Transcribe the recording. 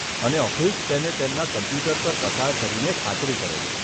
અને ઓફિસ તેને તેમના કમ્પ્યુટર પર પસાર કરીને ખાતરી કરે છે.